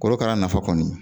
Korokara nafa kɔni